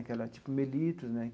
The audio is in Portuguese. Aquela tipo Mellitus, né?